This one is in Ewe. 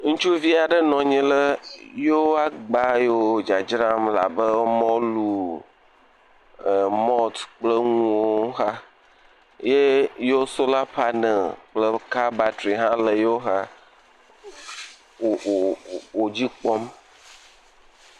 Ŋutsuvi aɖe nɔ anyi ɖe yeo agba yiwo dzadzram abe mɔlu, mɔlt kple nuwo xa, ye yo sola panel kple ka batri hã le yeoxa wò wò wò dzi kpɔm.